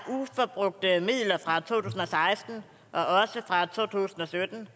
der er uforbrugte midler fra to tusind og seksten og også fra to tusind og sytten